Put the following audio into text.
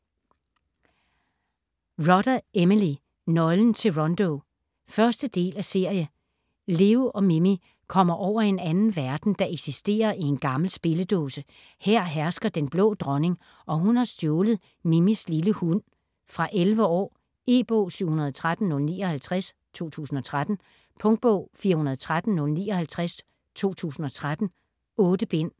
Rodda, Emily: Nøglen til Rondo 1. del af serie. Leo og Mimi kommer over i en anden verden, der eksisterer i en gammel spilledåse. Her hersker Den Blå Dronning, og hun har stjålet Mimis lille hund. Fra 11 år. E-bog 713059 2013. Punktbog 413059 2013. 8 bind.